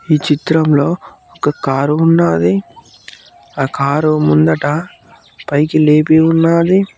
ఈ చిత్రంలో ఒక కారు ఉన్నది ఆ కారు ముందట పైకి లేపి ఉండాలి.